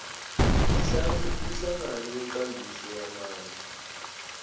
umhlangano wenkambiso yamandla